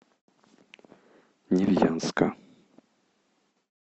невьянска